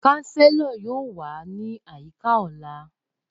Chancellor yoo wa ni ayika ọla.